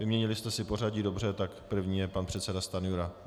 Vyměnili jste si pořadí, dobře, tak první je pan předseda Stanjura.